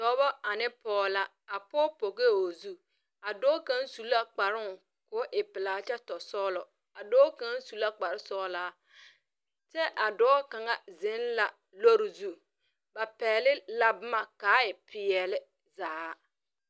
Dɔba ane poɔ la a poɔ pɔgɛɛ ɔ zu a doɔ kang su la kparoo koo e pilaa kye to sɔglo a doɔ kang su la kpare sɔgla kye a doɔ kang zeng la loɔri zu ba pɛgli la buma ka a e peɛle zaa.